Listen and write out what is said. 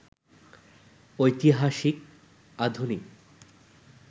ঐতিহাসিক, আধুনিক